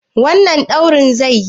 Wannan rodin zaiyi?